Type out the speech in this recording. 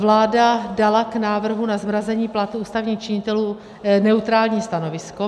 Vláda dala k návrhu na zmrazení platů ústavních činitelů neutrální stanovisko.